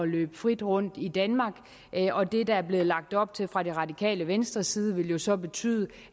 løbe frit rundt i danmark og det der er blevet lagt op til fra det radikale venstres side ville jo så betyde